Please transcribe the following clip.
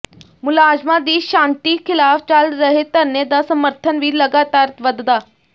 ਮੁਲਾਜ਼ਮਾਂ ਦੀ ਛਾਂਟੀ ਖ਼ਿਲਾਫ਼ ਚੱਲ ਰਹੇ ਧਰਨੇ ਦਾ ਸਮਰਥਨ ਵੀ ਲਗਾਤਾਰ ਵਧਦਾ